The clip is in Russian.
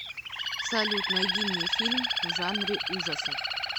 салют найди мне фильм в жанре ужасов